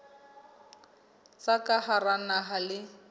tsa ka hara naha le